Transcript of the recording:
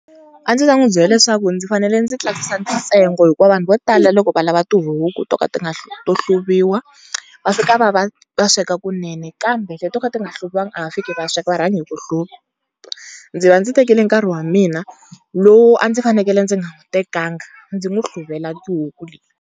A ndzi ta n'wi byela leswaku ndzi fanele ndzi tlakusa ntsengo hikuva vanhu vo tala loko va lava tihuku to ka ti nga to hluriwa va fika va va, va sweka kunene. Kambe leti to ka ti nga hluviwangi a va fiki va sweka va rhanga hi ku hluva. Ndzi va ndzi tekile nkarhi wa mina lowu a ndzi fanekele ndzi nga wu tekanga ndzi n'wi hluvela tihuku leti.